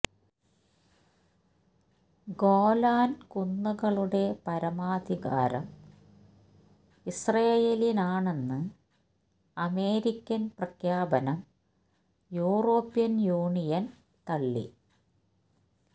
ഗോലാന് കുന്നുകളുടെ പരമാധികാരം ഇസ്രായേലിനാണെന്ന് അമേരിക്കന് പ്രഖ്യാപനം യൂറോപ്യന് യൂണിയന് തള്ളി